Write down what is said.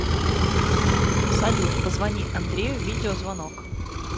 салют позвони андрею видеозвонок